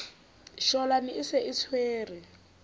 shwalane e se e tshwere